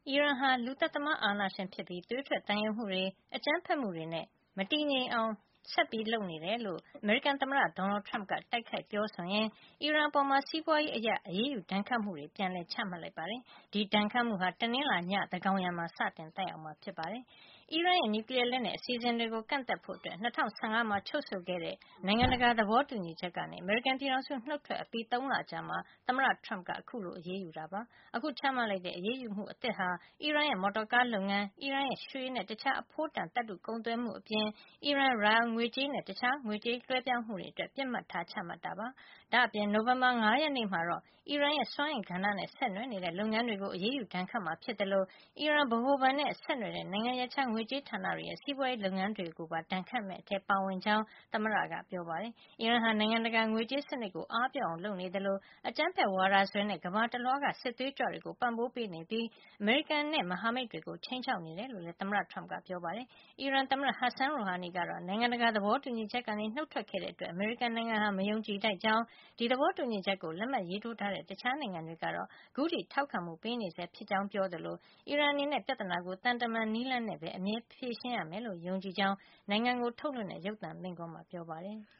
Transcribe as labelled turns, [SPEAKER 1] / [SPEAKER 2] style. [SPEAKER 1] ီရန်ဟာ လူသတ်သမားအာဏာရှင်ဖြစ်ပြီး သွေးထွက်သံယိုမှုတွေ အကြမ်းဖက်မှုတွေနဲ့ မတည်ငြိမ်ဖြစ်မှုတွေ ဖြစ်အောင် ဆက်လုပ်နေတယ်လို့ အမေရိကန်သမ္မတ Donald Trump က တိုက်ခိုက်ပြောဆိုရင်း၊ အီရန်အပေါ်မှာ စီးပွါးရေးအရ အရေးယူ ဒဏ်ခတ်မှုတွေ ပြန်လည် ချမှတ်လိုက်ပါတယ်။ ဒီဒဏ်ခတ်မှုဟာ တနင်္လာနေ့ ည သန်းကောင်ယံမှာ စတင်သက်ရောက်မှာဖြစ်ပါတယ်။ အီရန်ရဲ့ နျူကလီယားလက်နက် အစီအစဉ်တွေကို ကန့်သတ်ဖို့ ၂၀၁၅ မှာ ချုပ်ဆိုခဲ့တဲ့ နိုင်ငံတကာ သဘောတူညီချက်ကနေ အမေရိကန် ပြည်ထောင်စု နှုတ်ထွက်ပြီး ၃ လအကြာမှာ သမ္မတ Trump က အခုလို အရေးယူခဲ့တာ ဖြစ်ပါတယ်။ အခုချမှတ်လိုက်တဲ့ အရေးယူမှု အသစ်ဟာ အီရန်ရဲ့ မော်တော်ကားလုပ်ငန်း၊ အီရန်ရဲ့ ရွှေနဲ့ တခြားအဖိုးတန်သတ္တုကုန်သွယ်မှု အပြင် အီရန် rial ငွေကြေးနဲ့ တခြား ငွေကြေား လွှဲပြောင်းမှုတွေအတွက် ပစ်မှတ်ထားချမှတ်တာ ဖြစ်ပါတယ်။ ဒါ့အပြင် နိုဝင်ဘာလ ၅ ရက်မှာတော့ အီရန်ရဲ့ စွမ်းအင်ကဏ္ဍနဲ့ ဆက်နွယ်နေတဲ့ လုပ်ငန်းတွေကို အရေးယူဒဏ်ခတ်မှာ ဖြစ်သလို အီရန် ဗဟိုဘဏ်နဲ့ ဆက်နွယ်တဲ့ နိုင်ငံရပ်ခြား ငွေကြေးဌာနတွေရဲ့ စီးပွါးရေးလုပ်ငန်းတွေပါ ဒဏ်ခတ်မယ့်အထဲ ပါဝင်ကြောင်း သမ္မတက ပြောပါတယ်။ အီရန်ဟာ နိုင်ငံတကာ ငွေးကြေးစံနစ်ကို အားပျော့အောင်လုပ်နေသလို အကြမ်းဖက်ဝါဒစွဲနဲ့ ကမ္ဘာတလွှားက စစ်သွေးကြွတွေကို ပံ့ပိုးပေးနေပြီး အမေရိကန်နဲ့ မဟာမိတ်တွေကို ခြိမ်းခြောက်နေတယ်လို့လည်းသမ္မတ Trump ကပြောပါတယ်။ အီရန်သမ္မတ Hassan Rouhani ကတော့ နိုင်ငံတကာ သဘောတူညီချက်ကနေ နှုတ်ထွက်ခဲ့တဲ့ အတွက် အမေရိကန်နိုင်ငံဟာ မယုံကြည်ထိုက်ကြောင်း၊ ဒီသဘောတူညီချက်ကို လက်မှတ်ရေးထိုးထားတဲ့ တခြားနိုင်ငံတွေကတော့ ခုထိထောက်ခံမှု ပေးနေဆဲဖြစ်ကြောင်း ပြောခဲ့သလို အီရန်အနေနဲ့ ပြဿနာကို သံတမန်နည်းလမ်းနဲ့ပဲ အမြဲဖြေရှင်းရမယ်လို့ ယုံကြည်ကြောင်း နိုင်ငံကို ထုတ်လွှင့်တဲ့ ရုပ်သံမိန့်ခွန်းမှာ ပြောပါတယ်။